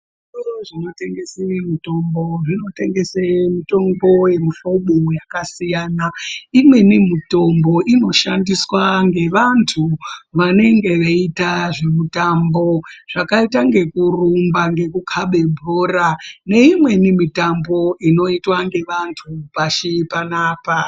Zvitoro zvinotengese mitombo zvinotengese mitombo yakasiyana imweni mitombo inoshandiswa ngevantu vanenge veiita ngezvemitambo zvakaita ngekurumba, ngekukabe bhora neimweni mitambo inoitwa nevantu pashi panapa.